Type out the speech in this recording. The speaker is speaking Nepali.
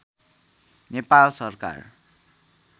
नेपाल सरकार